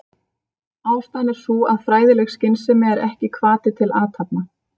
Ástæðan er sú að fræðileg skynsemi er ekki hvati til athafna.